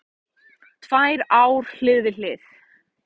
Tvær ár hlið við hlið